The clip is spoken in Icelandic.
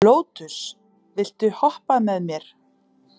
Lótus, viltu hoppa með mér?